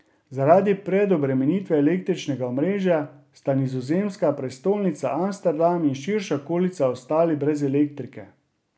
Zaradi preobremenitve električnega omrežja sta nizozemska prestolnica Amsterdam in širša okolica ostali brez elektrike.